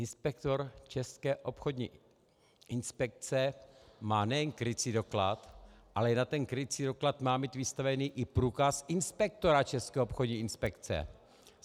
Inspektor České obchodní inspekce má nejen krycí doklad, ale i na ten krycí doklad má mít vystaven i průkaz inspektora České obchodní inspekce!